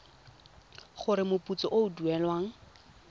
gore moputso o o duelwang